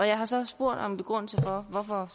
jeg har så spurgt om begrundelsen for hvorfor